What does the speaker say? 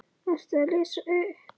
Ertu að lesa upp?